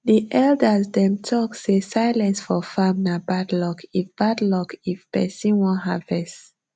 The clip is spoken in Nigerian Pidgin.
the elders dem talk say silence for farm nah bad luck if bad luck if persin wan harvest